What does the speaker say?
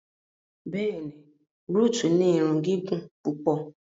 Bẹ́ẹ̀ni, Ruth ni ìrun gigun pupọ